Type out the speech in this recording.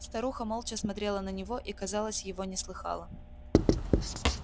старуха молча смотрела на него и казалось его не слыхала